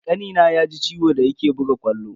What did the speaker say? Kanina ya ji ciwo da yake buga ƙwallo.